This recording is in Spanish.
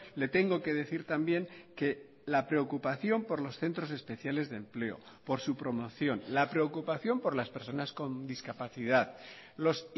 le tengo que decir también que la preocupación por los centros especiales de empleo por su promoción la preocupación por las personas con discapacidad los